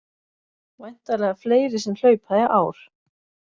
Væntanlega fleiri sem hlaupa í ár